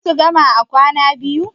za su gama a kwana biyu